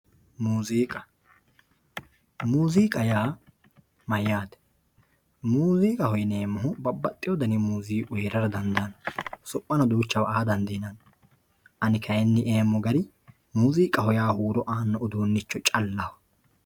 muuziiqa yaa mayyaate? muziiqaho yinayiihu babbaxxeyo danihu muziiqu heerara dandaanno tirono duucha aa dandiinanni ani kayeenni yeemohu muziiqaho yaa huuro aannoricho callaho